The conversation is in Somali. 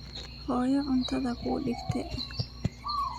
Xoyo cuntadha kuudigte.